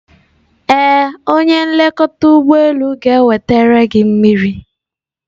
Ee, onye nlekọta ụgbọ elu ga-enweta gị mmiri.